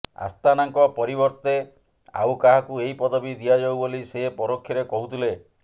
ଆସ୍ଥାନାଙ୍କ ପରିବର୍ତ୍ତେ ଆଉ କାହାକୁ ଏହି ପଦବୀ ଦିଆଯାଉ ବୋଲି ସେ ପରୋକ୍ଷରେ କହୁଥିଲେ